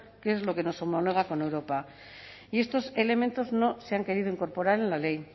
que es lo que nos homologa con europa y estos elementos no se han querido incorporar en la ley